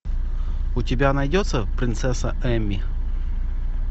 у тебя найдется принцесса эмми